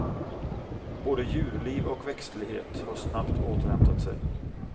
Både djurliv och växtlighet har snabbt återhämtat sig.